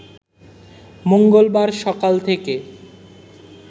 মঙ্গলবার সকাল থেকে